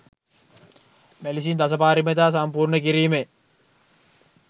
මෙලෙසින් දසපාරමිතා සම්පූර්ණ කිරීමෙන්